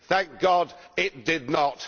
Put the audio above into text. Thank God it did not.